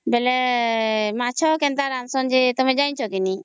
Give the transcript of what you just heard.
ବେଳେ ମାଛ କେନ୍ତା ରାନ୍ଧୁଛନ୍ତ ବୋଇଲେ ତମେ ଜାଣିଛ କି ନି